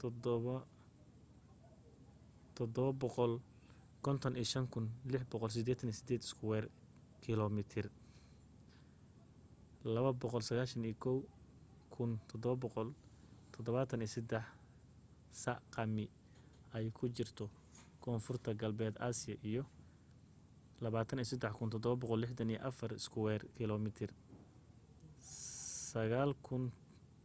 755,688 iskuweer kiilomitir 291 773 sq mi ay ku jirto koonfur galbeed asia iyo 23,764 iskuweer kiilomitir 9